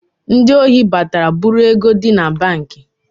Ndị ohi batara bụ̣rụ ego di na banki